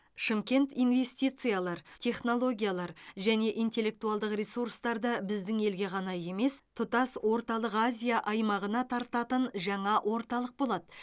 шымкент инвестициялар технологиялар және интеллектуалдық ресурстарды біздің елге ғана емес тұтас орталық азия аймағына тартатын жаңа орталық болады